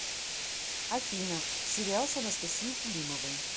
афина сериал с анастасией кулимовой